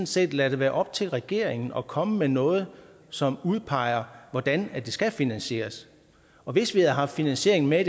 set lade det være op til regeringen at komme med noget som udpeger hvordan det skal finansieres og hvis vi havde haft finansiering med i